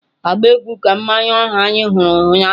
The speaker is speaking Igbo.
agba egwu ka mmanwu ahụ anyị hụrụ ụnyaahụ!